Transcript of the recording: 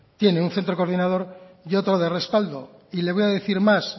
tiene un centro coordinador y otro de respaldo y le voy a decir más